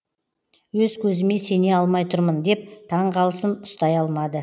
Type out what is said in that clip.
өз көзіме сене алмай тұрмын деп таңғалысын ұстай алмады